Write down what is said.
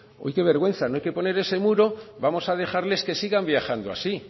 qué vergüenza no hay que poner ese muro vamos a dejarles que sigan viajando así